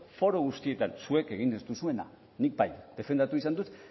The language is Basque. foru guztietan zuek egin ez duzuena nik bai defendatu izan dut